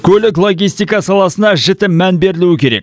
көлік логистика саласына жіті мән берілу керек